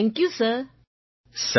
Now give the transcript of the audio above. thank you sir